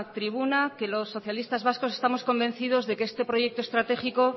tribuna que los socialistas vascos estamos convencidos de que este proyecto estratégico